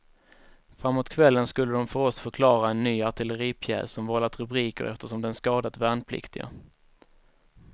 Framåt kvällen skulle de för oss förklara en ny artilleripjäs som vållat rubriker eftersom den skadat värnpliktiga.